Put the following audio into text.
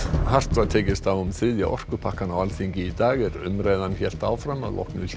hart var tekist á um þriðja orkupakkann á Alþingi í dag er umræðan hélt áfram að loknu hléi